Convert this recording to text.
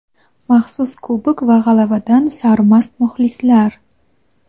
maxsus kubok va g‘alabadan sarmast muxlislar.